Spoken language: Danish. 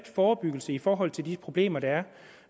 forebyggelse i forhold til de problemer der er